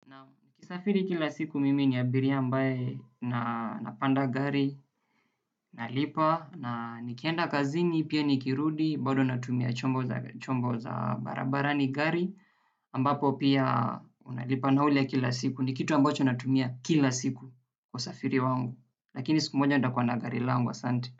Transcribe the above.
Naam nikisafiri kila siku mimi ni abiria ambaye na napanda gari, nalipa, na nikienda kazini, pia nikirudi, bado natumia chombo za barabarani gari, ambapo pia unalipa na ule kila siku, ni kitu ambacho natumia kila siku wasafiri wangu, lakini siku moja nitakuwa na gari langu asante.